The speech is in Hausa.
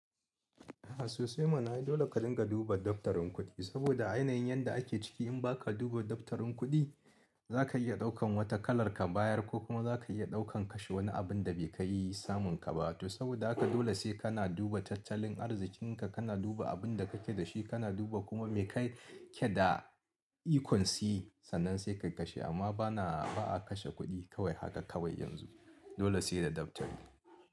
Sosai mana ai dole ka dinga duba dabtarin kudi, saboda a yanayin yadda ake ciki in baka duba dabtarin kudi za ka iya ɗaukan wata kalar ka bayar ko kuma za ka iya ɗaukan kashe wani abin da bai kai samun ka ba to saboda haka dole sai ka na duba tattalin arzikinka, ka na duba abinda ka ke da shi, ka na duba kuma me ka ke da ikonsi sannan sai ka kashe amma ba na ba'a kashe kuɗi kawai haka kawai yanzu. Dole sai da dabtari.